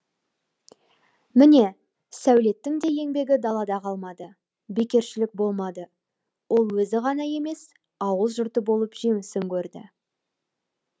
міне сәулеттің де еңбегі далада қалмады бекершілік болмады ол өзі ғана емес ауыл жұрты болып жемісін көрді